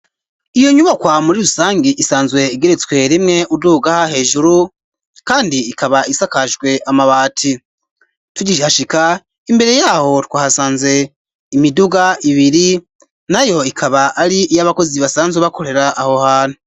Iyo nyubakwa muri rusangi isanzwe igeretswe rimwe uduga hejuru kandi ikaba isakajwe amabati tugihashika imbere yaho twahasanze imiduga ibiri nayo ikaba ari iy'abakozi basanzwe bakorera aho hantu.